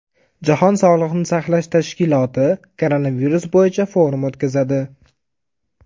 Jahon sog‘liqni saqlash tashkiloti koronavirus bo‘yicha forum o‘tkazadi .